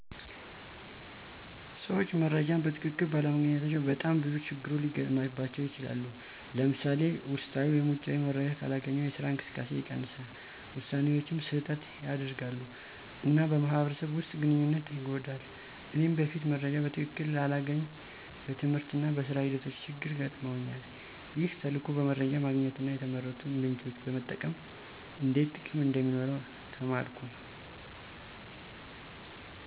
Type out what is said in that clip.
ሰዎች መረጃን በትክክል ባለማግኘታቸው በጣም ብዙ ችግሮች ሊገጥሙባቸው ይችላሉ። ለምሳሌ፣ ውስጣዊ ወይም ውጪ መረጃ ካላገኙ የስራ እንቅስቃሴ ይቀንሳል፣ ውሳኔዎችም ስህተት ያደርጋሉ፣ እና በማህበረሰብ ውስጥ ግንኙነት ይጎዳል። እኔም በፊት መረጃ በትክክል ሳላገኝ በትምህርትና በሥራ ሂደቶቼ ችግር ገጥመውኛል። ይህ ተልዕኮ በመረጃ ማግኘትና የተመረጡ ምንጮችን መጠቀም እንዴት ጥቅም እንደሚኖረው ተማርኩ።